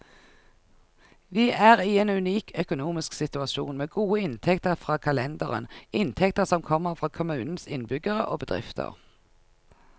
Vi er i en unik økonomisk situasjon, med gode inntekter fra kalenderen, inntekter som kommer fra kommunens innbyggere og bedrifter.